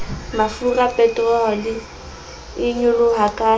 mafura peterole e nyoloha ka